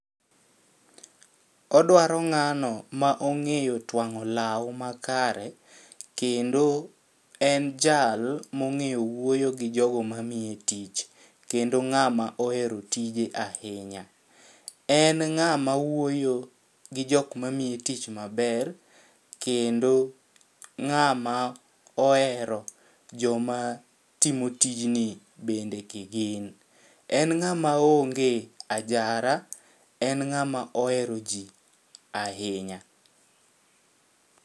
Odwaro ng'ano ma ong'eyo twang'o law makare kendo en jal mong'eyo wuoyo gi jogo mamiye tich kendo ng'ama ohero tije ahinya .En ng'ama wuoyo gi jok mamiye tich maber kendo ng'ama ohero joma timo tijni bende kigin. En ng'ama onge ajara, en ng'ama ohero jii ahinya.